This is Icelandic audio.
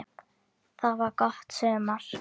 Það var gott sumar.